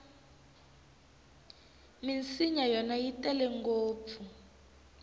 minsinya yona yi tele ngopfu